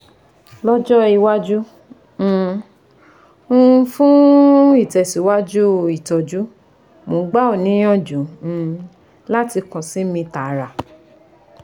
Lọ́jọ́ iwájú, um um fún ìtẹ̀síwájú ìtọ́jú, mò ń gbà ọ́ níyànjú um láti kàn sí mi tààrà